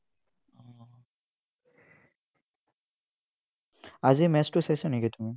আজি match টো চাইছা নেকি তুমি?